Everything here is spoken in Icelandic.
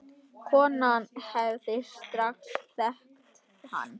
Konan hefði strax þekkt hann.